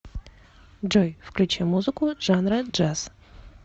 джой включи музыку жанра джаз